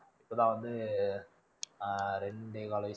இப்போ தான் வந்து ஆஹ்